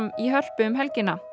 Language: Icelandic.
í Hörpu um helgina